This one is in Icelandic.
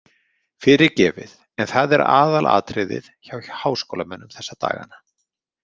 Fyrirgefið en það er aðalatriðið hjá háskólamönnum þessa dagana.